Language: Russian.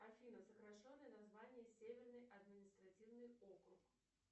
афина сокращенное название северный административный округ